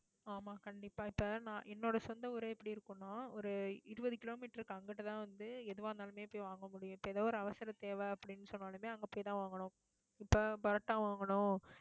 ஆமா, கண்டிப்பா இப்ப நான் என்னோட சொந்த ஊரே எப்படி இருக்கும்ன்னா ஒரு இருபது kilometre க்கு அங்கிட்டுதான் வந்து, எதுவா இருந்தாலுமே போய் வாங்க முடியும். இப்ப ஏதாவது ஒரு அவசர தேவை அப்படீன்னு சொன்ன உடனே அங்க போய்தான் வாங்கணும். இப்ப பரோட்டா வாங்கணும்